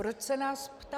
Proč se nás ptá?